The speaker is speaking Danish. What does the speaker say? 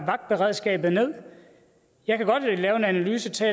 vagtberedskabet jeg kan godt lave en analyse til